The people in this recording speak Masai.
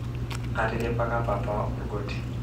atiripaka papa olgoti